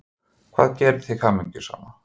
Hvað gerir þig hamingjusama?